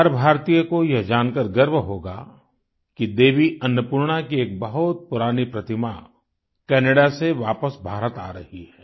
हर भारतीय को यह जानकर गर्व होगा कि देवी अन्नपूर्णा की एक बहुत पुरानी प्रतिमा कैनाडा से वापस भारत आ रही है